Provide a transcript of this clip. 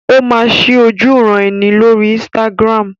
Ó máa ṣí ojúuran-ẹni lórí Instagram.